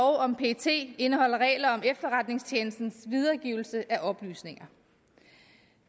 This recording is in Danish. om pet indeholder regler om efterretningstjenestens videregivelse af oplysninger